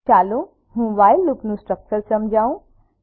ચાલો હું વ્હાઇલ લુપનું સ્ટ્રક્ચર સમજાવું